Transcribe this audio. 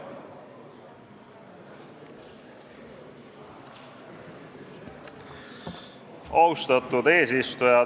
Austatud eesistuja!